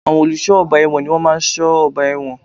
Àwọn olùsọ́ ọgbà èwọ̀n ni wọ́n má a n sọ́ ọgbà ẹ̀wọ̀n